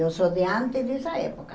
Eu sou de antes dessa época.